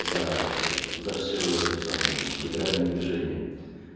за за все это самое блин либеральное движение